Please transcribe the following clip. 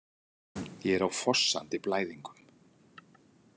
Ég er á fossandi blæðingum.